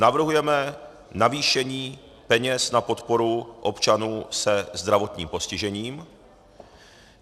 Navrhujeme navýšení peněz na podporu občanů se zdravotním postižením.